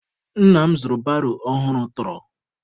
Nna m zụrụ baro ọhụrụ tọrọ